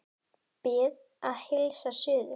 Bið að heilsa suður.